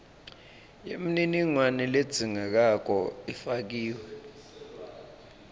yemininingwane ledzingekako ifakiwe